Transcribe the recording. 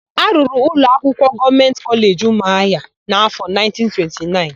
A rụrụ ụlọakwụkwọ Gọọmentị Kọleji Ụmụahịa n'áfọ̀1929.